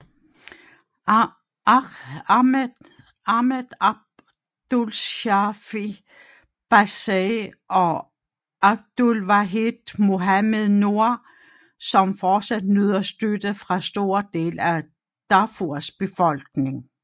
Ahmed Abdulshafi Bassey og Abdulwahid Mohamed Nour som fortsat nyder støtte fra store dele af Darfurs befolkning